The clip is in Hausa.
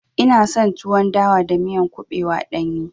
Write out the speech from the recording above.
Ina son tuwon dawa da miya kuɓewa ɗanye.